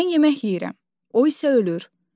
Mən yemək yeyirəm, o isə ölür.